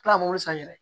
kila ko san yɛrɛ